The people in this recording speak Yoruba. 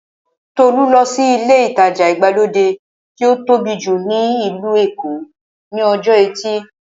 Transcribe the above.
Tolú lọ sí ilé ìtajà ìgbàlódé tí ó tóbi jù ní ìlú Èkó ní ọjọ́ ẹtì